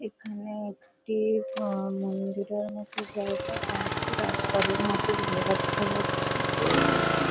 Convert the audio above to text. এখানে একটি মন্দিরের মতো জায়গা কয়েকটি রাজবাড়ির মতো জায়গা দেখা যাচ্ছে | দূরে একটি--